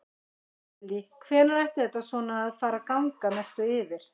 Lillý: Hvenær ætti þetta svona að fara að ganga að mestu yfir?